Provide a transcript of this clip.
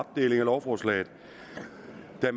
at dele lovforslaget op det